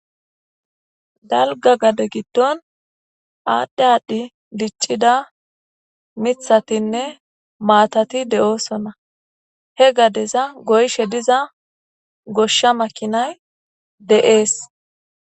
dalga gade giddon aadhdhe aadhdhi diccida mithatinne maatati de7oosonna he gadeza goyshe diza goshsha makinay de7ees